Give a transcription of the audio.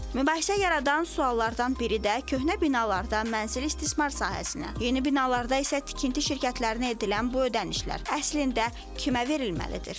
Mübahisə yaradan suallardan biri də köhnə binalarda mənzili istismar sahəsinə, yeni binalarda isə tikinti şirkətlərinə edilən bu ödənişlər əslində kimə verilməlidir?